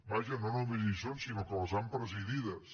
vaja no només hi són sinó que les han presidides